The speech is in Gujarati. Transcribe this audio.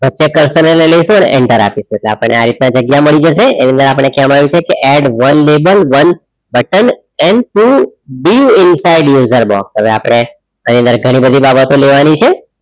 વચ્ચે curser ને લઈ લઈશું અને enter આપીશું આપણને આ રીતના જગ્યા મળી જશે એની અંદર આપણે કહેવામાં આવ્યું છે કે add one label one curser and too in side user box હવે આપણે એની અંદર ઘણી બધી બાબતો લેવાની છે.